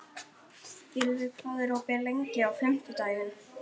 Gylfi, hvað er opið lengi á fimmtudaginn?